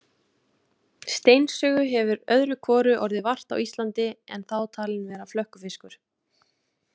Steinsugu hefur öðru hvoru orðið vart á Íslandi en þá talin vera flökkufiskur.